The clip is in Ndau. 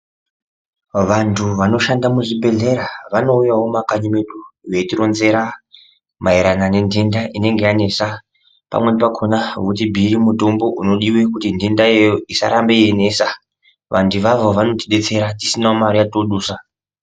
Vanthu vanoshanda muzvibhedhleya vanouyawo mumakanyi mwedu veitironzera maererano nendenda inenge yanesa pamweni pakona votibhiire mitombo unodiwe kuti ndenda iyoyo isarambe yeinesa vanthu ivavo vanotidetsera tisina mare yaodusa.